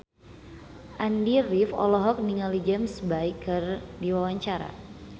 Andy rif olohok ningali James Bay keur diwawancara